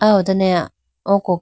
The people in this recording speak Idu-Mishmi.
ah ho done oko khege.